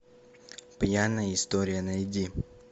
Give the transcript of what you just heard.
пьяная история найди